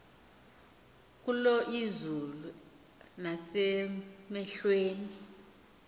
kulo izulu nasemehlweni